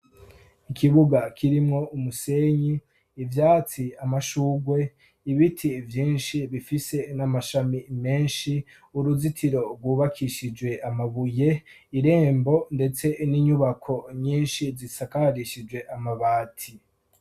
ikibuga kirimwo umusenyi ibyatsi amashugwe ibiti byinshi bifise n'amashami menshi uruzitiro rwubakishijwe amabuye irembo ndetse n'inyubako nyinshi zisakarishijwe amabati